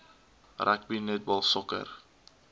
rugby netbal sokker